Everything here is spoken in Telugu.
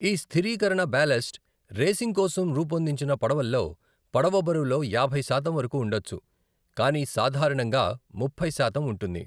ఈ స్థిరీకరణ బ్యాలస్ట్, రేసింగ్ కోసం రూపొందించిన పడవల్లో, పడవ బరువులో యాభై శాతం వరకు ఉండొచ్చు, కానీ సాధారణంగా ముప్పై శాతం ఉంటుంది.